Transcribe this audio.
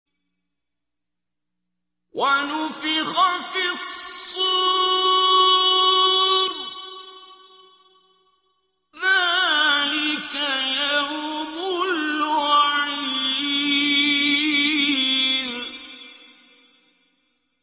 وَنُفِخَ فِي الصُّورِ ۚ ذَٰلِكَ يَوْمُ الْوَعِيدِ